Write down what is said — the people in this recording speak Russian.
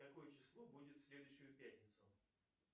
какое число будет в следующую пятницу